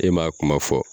E m'a kuma fɔ